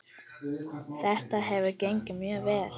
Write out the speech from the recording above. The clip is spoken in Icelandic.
Þetta hefur gengið mjög vel.